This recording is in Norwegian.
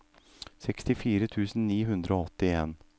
sekstifire tusen ni hundre og åttien